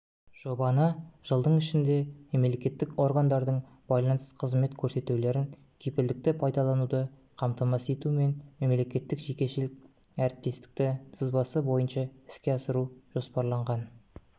жобаны жылдың ішінде мемлекеттік органдардың байланыс қызмет көрсетулерін кепілдікті пайдалануды қамтамасыз етумен мемлекеттік-жекешелік әріптестік сызбасы бойынша іске асыру жоспарланған